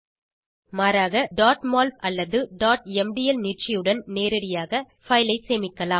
மாறாக mol அல்லது mdl நீட்சியுடன் நேரடியாக பைல் ஐ சேமிக்கலாம்